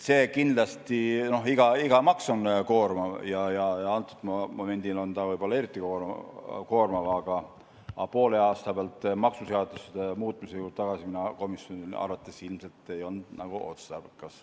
Eks iga maks on koormav ja momendil on ta võib-olla eriti koormav, aga poole aasta pealt maksuseaduste muutmise juurde tagasi minna ei olnud komisjoni arvates ilmselt otstarbekas.